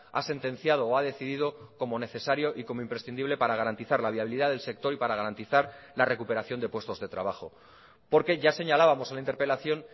ha sentenciado o ha decidido como necesario y como imprescindible para garantizar la viabilidad del sector y para garantizar la recuperación de puestos de trabajo porque ya señalábamos en la interpelación